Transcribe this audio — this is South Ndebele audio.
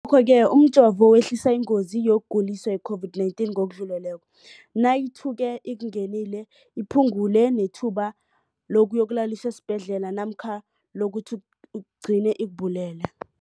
kho-ke umjovo wehlisa ingozi yokuguliswa yi-COVID-19 ngokudluleleko, nayithuke ikungenile, iphu ngule nethuba lokuyokulaliswa esibhedlela namkha lokuthi igcine ikubulele.